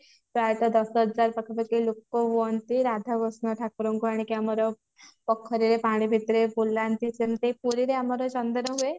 ପ୍ରାଏତ ଦଶ ହଜାର ପାଖାପାଖି ଲୋକ ହୁଅନ୍ତି ରାଧା କୃଷ୍ଣ ଠାକୁରଙ୍କୁ ଆଣିକି ଆମର ପୋଖରୀରେ ପଣି ଭିତରେ ବୁଲାନ୍ତି ଯେମତି ପୁରୀରେ ଆମର ଚନ୍ଦନ ହୁଏ